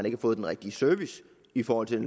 ikke får den rigtige service i forhold til